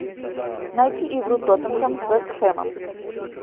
найти игру тоттенхэм с вест хэмом